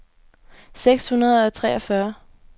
seks hundrede og treogfyrre